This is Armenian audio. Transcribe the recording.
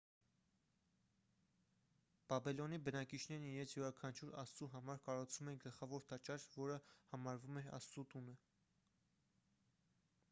բաբելոնի բնակիչներն իրենց յուրաքանչյուր աստծու համար կառուցում էին գլխավոր տաճար որը համարվում էր աստծու տունը